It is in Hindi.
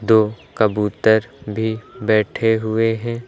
दो कबूतर भी बैठे हुए हैं।